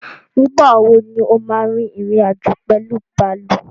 Nígbàwo ní o ma rin ìrìn-àjò pẹ̀lú bàálù?